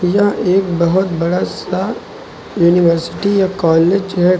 यह एक बहोत बड़ा सा यूनिवर्सिटी या कॉलेज है।